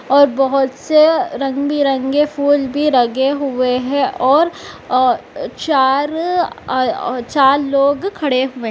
और बोहोत से रंग बिरंगे फूल भी ऱगे हुए है और औ चार अ औ चार लोग खड़े हुए --